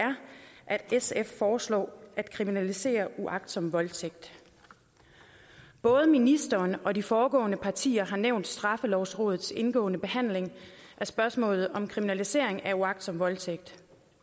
sf foreslår at kriminalisere uagtsom voldtægt både ministeren og de foregående partiers ordførere har nævnt straffelovrådets indgående behandling af spørgsmålet om kriminalisering af uagtsom voldtægt